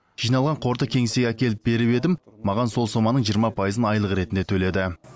жиналған қорды кеңсеге әкеліп беріп едім маған сол соманың жиырма пайызын айлық ретінде төледі